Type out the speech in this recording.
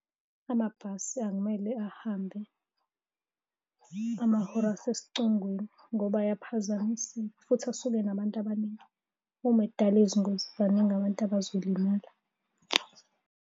Amabhasi akumele ahambe amahora asesicongweni ngoba ayaphazamiseka futhi asuke enabantu abaningi. Uma edala izingozi baningi abantu abazolimala.